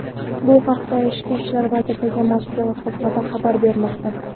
Bu haqda Ichki ishlar vazirligi matbuot xizmati xabar bermoqda .